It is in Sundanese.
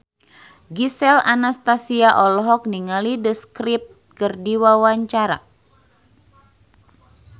Gisel Anastasia olohok ningali The Script keur diwawancara